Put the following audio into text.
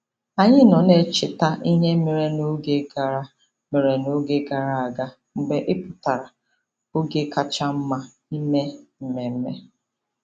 Anyị nọ na-echeta ihe mere n'oge gara mere n'oge gara aga mgbe ị pụtara - oge kacha mma ime mmemme.